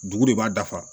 Dugu de b'a dafa